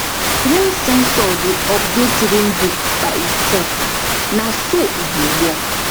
rain sensor dey update rain book by itself na so e dey work